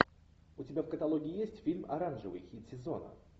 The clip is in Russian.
у тебя в каталоге есть фильм оранжевый хит сезона